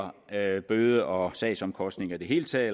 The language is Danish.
af bøde og sagsomkostninger i det hele taget